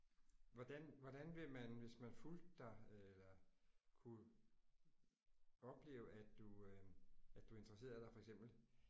Hvordan hvordan vil man hvis man fulgte dig øh kunne opleve at du at du interesserede dig for eksempel